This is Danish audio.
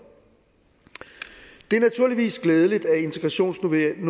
det er naturligvis glædeligt at integrationsnormeringen